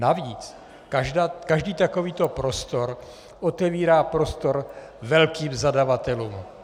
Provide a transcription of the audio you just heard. Navíc každý takovýto prostor otevírá prostor velkým zadavatelům.